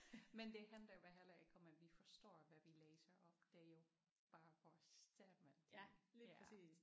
Men det handler jo heller ikke om at vi forstår hvad vi læser op det er jo bare vores stemme de ja